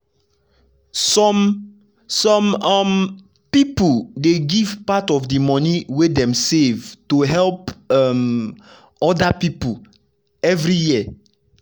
some some um piple dey give part of di money wey dem save to help um oda piple every year.